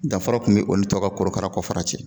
Danfara tun bɛ o ni tɔw ka korokara kɔfara cɛ